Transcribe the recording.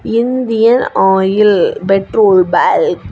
Indian Oil petrol bunk .